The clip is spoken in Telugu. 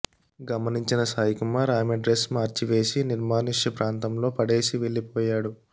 గమనించిన సాయి కుమార్ ఆమె డ్రెస్ మార్చి వేసి నిర్మానుష్య ప్రాంతంలో పడేసి వెళ్లిపోయాడు